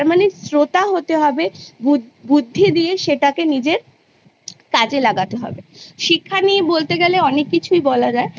তার মানে শ্রোতা হতে হবে বুদ্ধি দিয়ে সেটাকে নিজের কাজে লাগাতে হবে শিক্ষা নিয়ে বলতে গেলে অনেক কিছুই বলা যায়